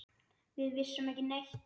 Við vissum ekki neitt.